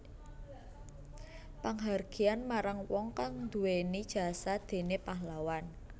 Panghargyan marang wong kang duwéni jasa kaya déné pahlawan